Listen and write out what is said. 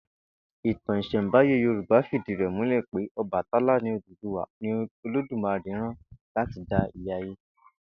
Ìtàn ìs̩è̩ǹbáyé Yorùbá fìdí rè̩ múlè̩ pé O̩bàtálá ni Olódùmarè rán láti dá ilé ayé